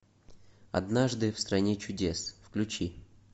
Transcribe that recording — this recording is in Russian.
однажды в стране чудес включи